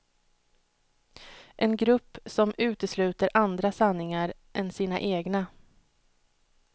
En grupp, som utesluter andra sanningar än sina egna.